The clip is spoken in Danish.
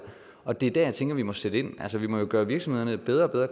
og det er der jeg tænker at vi må sætte ind altså vi må jo gøre virksomhederne bedre og bedre